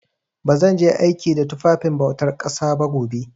Ba zan je aiki da tufafin bautar ƙasa ba gobe.